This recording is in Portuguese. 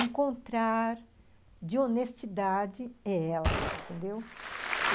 encontrar de honestidade é ela, entendeu?